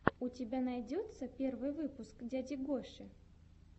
у тебя найдется первый выпуск дяди гоши